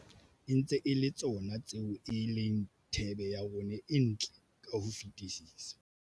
E ntse e le tsona tseo e leng thebe ya rona e ntle ka ho fetisisa.